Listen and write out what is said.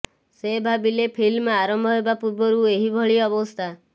ସେ ଭାବିଲେ ଫିଲ୍ମ ଆରମ୍ଭ ହେବା ପୂର୍ବରୁ ଏହିଭଳି ଅବସ୍ଥା